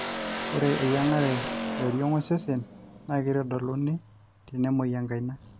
ore eyiangara ee oriong osesen na keitadoluni tenemoi enkaina